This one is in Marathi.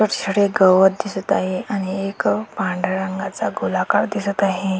छोट छोटे गवत दिसत आहे आणि एक पांढऱ्या रंगाचा गोलाकार दिसत आहे.